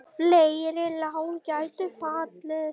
Fleiri lán gætu fallið.